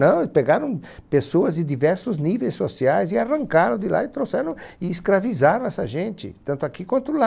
Não, pegaram pessoas de diversos níveis sociais e arrancaram de lá e trouxeram, e escravizaram essa gente, tanto aqui quanto lá.